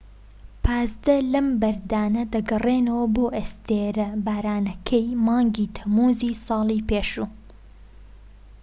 پازدە لەم بەردانە دەگەڕێنەوە بۆ ئەستێرە بارانەکەی مانگی تەمموزی ساڵی پێشوو